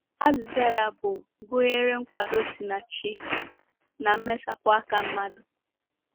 Azịza ya bụ gụnyere nkwado si na Chi na mmesapụ aka mmadụ.